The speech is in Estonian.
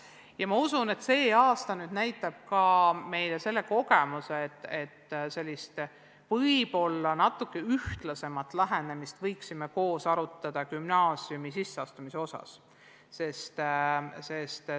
Samuti usun ma, et tänavune aasta annab meile ka selle kogemuse, et võiksime edaspidi arutada võib-olla natuke ühtlasemat lähenemist gümnaasiumisse sisseastumisel.